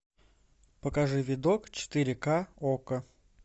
покажи видок четыре к окко